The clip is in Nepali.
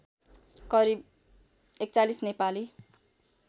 करिब ४१ नेपाली